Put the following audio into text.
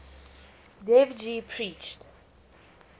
dev ji preached